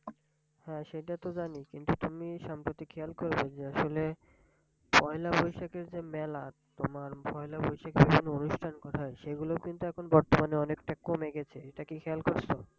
হ্যাঁ সেটা তো জানি কিন্তু তুমি সাম্প্রতি খেয়াল করবে যে আসলে পয়লা বৈশাখের যে মেলা তোমার পয়লা বৈশাখের যে অনুষ্ঠান করা হয় সেগুলো কিন্তু এখন বর্তমানে অনেকটা কমে গেছে এটা কি খেয়াল করেছো?